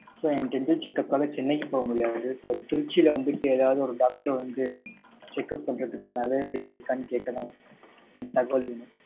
so என் dental checkup காக சென்னைக்கு போகமுடியாது. so திருச்சியில வந்துட்டு ஏதாவது ஒரு doctor வந்து checkup பண்றதுக்கான, availability இருக்கானு, கேட்கதான். எனக்கு, தகவல் வேணும்.